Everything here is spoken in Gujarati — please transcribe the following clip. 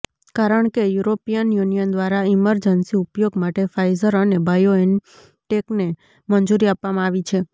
કારણ કે યુરોપિયન યુનિયન દ્વારા ઈમરજન્સી ઉપયોગ માટે ફાઇઝર અને બાયોએનટેકને મંજૂરી આપવામાં આવી છે